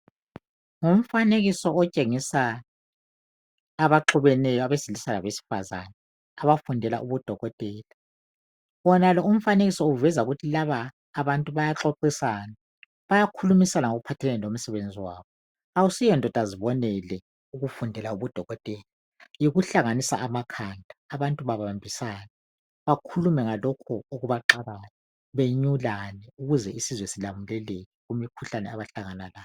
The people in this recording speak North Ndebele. Ngumfanekiso otshengisa abaxubeneyo, abesilisa labesifazane, abafundela ubudokotela. Wonalo umfanekiso uveza ukuthi laba abantu bayaxoxisana. Bayakhulumisana ngokuphathelane lomsebenzi wabo. Akusuye ndodazibonele ukufundela ubudokotela, yikuhlanganisa amakhanda abantu babambisane, bakhulume ngalokho okubaxakayo benyulane ukuze isizwe silamuleleke kumikhuhlane abahlangana layo.